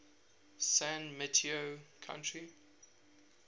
san mateo county